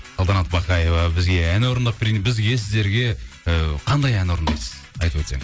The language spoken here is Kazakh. салтанат бақаева бізге ән орындап бізге сіздерге і қандай ән орындайсыз айтып өтсеңіз